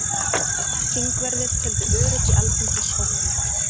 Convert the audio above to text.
Þingverðir töldu öryggi Alþingis ógnað